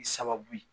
I sababu ye